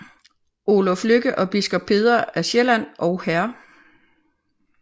Oluf Lykke og biskop Peder af Sjælland og hr